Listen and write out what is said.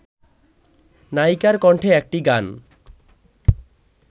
নায়িকার কণ্ঠে একটি গান